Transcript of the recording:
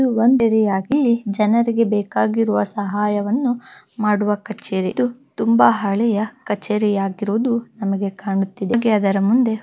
ಒಂದೆರೆಯಾಗಿ ಜನರಿಗೆ ಬೇಕಾಗಿರುವ ಸಹಾಯವನ್ನು ಮಾಡುವ ಕಚೇರಿ ಇದು ತುಂಬಾ ಹಳೆಯ ಕಚೇರಿ ಯಾಗಿರುವುದು ನಮಗೆ ಕಾಣುತ್ತಿದೆ ಹಾಗೆ ಅದರ ಮುಂದೆ--